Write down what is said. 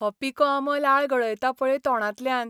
हो पिको आंबो लाळ गळयता पळय तोंडांतल्यान!